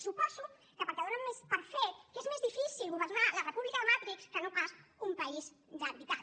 suposo que perquè donen per fet que és més difícil governar la república de matrix que no pas un país de veritat